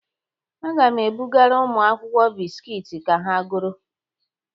Aga m ebugara ụmụ akwụkwọ biskiit ka ha goro.